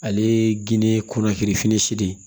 Ale ye geni kunnafirin si de